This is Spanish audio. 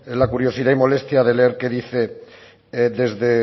la curiosidad y molestia de leer qué dice desde